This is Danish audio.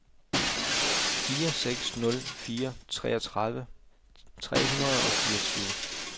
fire seks nul fire treogtredive tre hundrede og fireogtyve